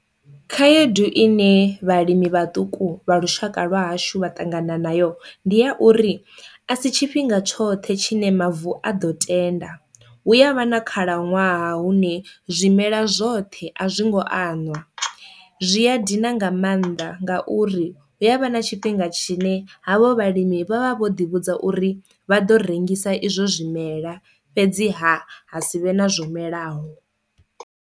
Khaedu ine vhalimi vhaṱuku vha lushaka lwa hashu vha ṱangana nayo ndi ya uri a si tshifhinga tshoṱhe tshine mavu a ḓo tenda, hu ya vha na khalaṅwaha hune zwimela zwoṱhe a zwi ngo anwa, zwi a dina nga maanḓa ngauri hu avha na tshifhinga tshine havho vhalimi vha vha vho ḓi vhudza uri vha ḓo rengisa izwo zwimela fhedziha ha sivhe na zwo melaho.